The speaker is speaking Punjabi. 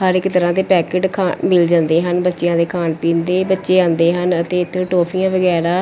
ਹਰ ਇੱਕ ਤਰ੍ਹਾਂ ਦੇ ਪੈਕਟ ਖਾ ਮਿਲ ਜਾਂਦੇ ਹਨ ਬੱਚਿਆਂ ਦੇ ਖਾਣ ਪੀਣ ਦੇ ਬੱਚੇ ਆਂਦੇ ਹਨ ਅਤੇ ਇਥੋਂ ਟੋਫੀਆਂ ਵਗੈਰਾ --